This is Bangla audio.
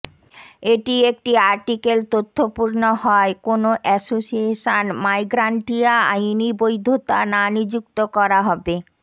এটি একটি আর্টিকেল তথ্যপূর্ণ হয় কোন এসোসিয়েশন মাইগ্রান্টিয়া আইনি বৈধতা না নিযুক্ত করা হবে